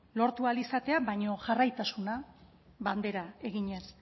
lortu ahal izatea baina jarraitasuna bandera eginez